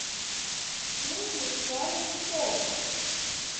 фильм в жанре шоу